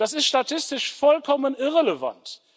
Das ist statistisch vollkommen irrelevant.